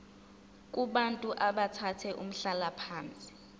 kubantu abathathe umhlalaphansi